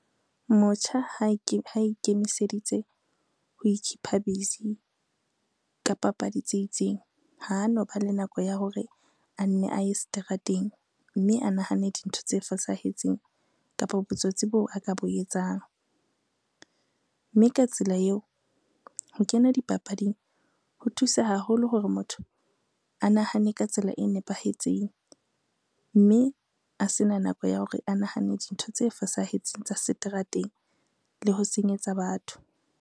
Motjha ha ikemiseditse ho ikhipha busy ka papadi tse itseng, ha no ba le nako ya hore a nne a ye seterateng, mme a nahane dintho tse fosahetseng kapa botsotsi bo a ka bo etsang. Mme ka tsela eo ho kena dipapading ho thusa haholo hore motho a nahane ka tsela e nepahetseng, mme a sena nako ya hore a nahane dintho tse fosahetseng tsa seterateng le ho senyetsa batho.